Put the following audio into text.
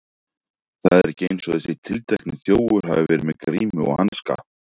Það er ekki eins og þessi tiltekni þjófur hafi verið með grímu og hanska.